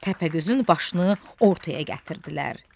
Təpəgözün başını ortaya gətirdilər.